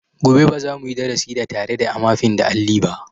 Gobe ba za mu yi darasi da tare da amafin da alli ba.